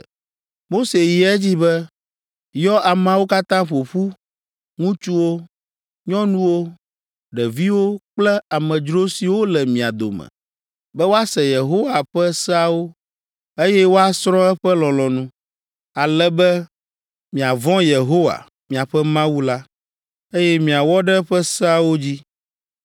Mose yi edzi be, “Yɔ ameawo katã ƒo ƒu, ŋutsuwo, nyɔnuwo, ɖeviwo kple amedzro siwo le mia dome, be woase Yehowa ƒe seawo, eye woasrɔ̃ eƒe lɔlɔ̃nu, ale be miavɔ̃ Yehowa, miaƒe Mawu la, eye miawɔ ɖe eƒe seawo dzi.